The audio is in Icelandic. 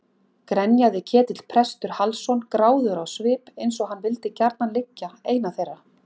grenjaði Ketill prestur Hallsson gráðugur á svip eins og hann vildi gjarnan liggja eina þeirra.